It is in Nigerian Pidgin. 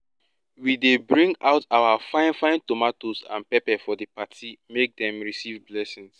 we dey bring out our fine fine tomatoes and peppers for di party make dem receive blessings